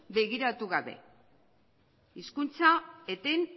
begiratu gabe hizkuntza eten